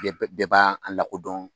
Bɛɛ bɛɛ b'a an lakodɔn.